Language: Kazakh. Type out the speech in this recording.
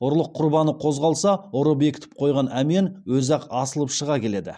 ұрлық құрбаны қозғалса ұры бекітіп қойған әмиян өзі ақ асылып шыға келеді